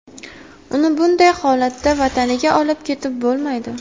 Uni bunday holatda vataniga olib ketib bo‘lmaydi.